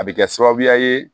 A bɛ kɛ sababuya ye